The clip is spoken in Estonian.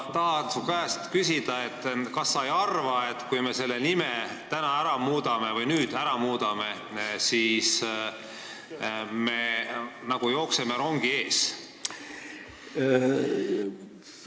Kas sa ei arva, et kui me selle nime nüüd ära muudame, siis me nagu jookseme rongi ees?